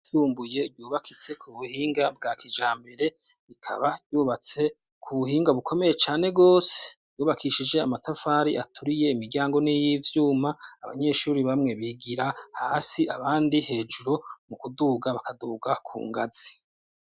Ishure ry'isumbuye ryubakitse ku buhinga bwa kijambere, rikaba ryubatse ku buhinga bukomeye cane gose ,ryubakishije amatafari aturiye ,imiryango n'iy'ivyuma ,abanyeshuri bamwe bigira hasi ,abandi hejuru, mu kuduga bakadugira ku ngazi.